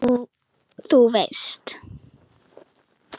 Þú veist.